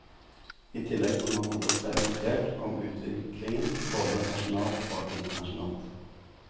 I tillegg må man holde seg orientert om utviklingen både nasjonalt og internasjonalt.